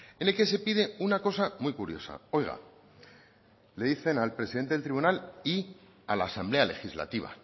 en el que se pide una cosa muy curiosa oiga le dicen al presidente del tribunal y a la asamblea legislativa